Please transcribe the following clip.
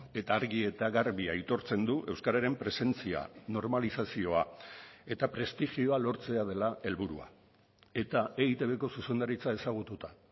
eta argi eta garbi aitortzen du euskararen presentzia normalizazioa eta prestigioa lortzea dela helburua eta eitbko zuzendaritza ezagututa